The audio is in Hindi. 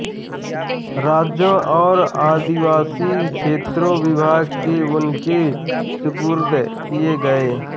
राज्यों और आदिवासी क्षेत्रों विभाग भी उनके सुपुर्द किए गए